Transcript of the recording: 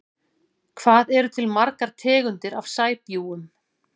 Hvað eru til margar tegundir af sæbjúgum?